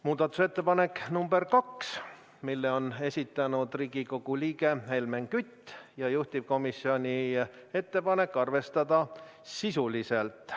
Muudatusettepanek nr 2, mille on esitanud Riigikogu liige Helmen Kütt ja juhtivkomisjoni ettepanek on arvestada seda sisuliselt.